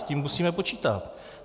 S tím musíme počítat.